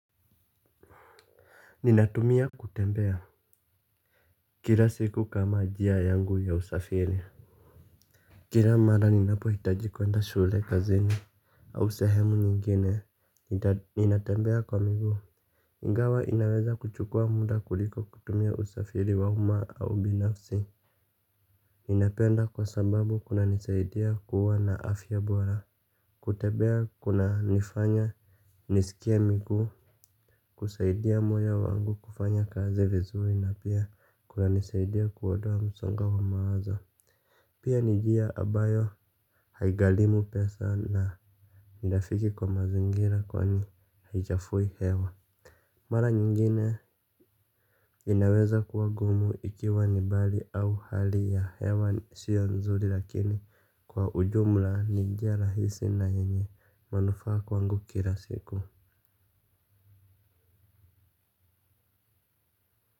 Ninatumia kutembea. Kila siku kama njia yangu ya usafiri kila mara ninapo hitaji kuenda shule kazini au sehemu nyingine. Ninatembea kwa miguu iNgawa inaweza kuchukua muda kuliko kutumia usafiri wa uma au binafsi. Ninapenda kwa sababu kuna nisaidia kuwa na afya bora. Kutembea kuna nifanya nisikie miguu. Kusaidia moyo wangu kufanya kazi vizuri na pia kuna nisaidia kuondoa msongo wa mawazo. Pia ni njia ambayo haighalimu pesa na ni rafiki kwa mazingira kwani haichafui hewa. Mara nyingine inaweza kuwa ngumu ikiwa ni mbali au hali ya hewa siyo nzuri lakini kwa ujumla ni njiia rahisi na yenye manufaa kwangu kila siku.